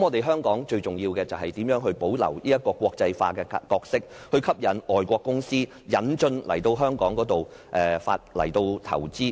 香港最重要的是，如何保留國際化的角色，吸引外國公司來香港投資。